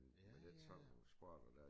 Med den sådan nogle sport der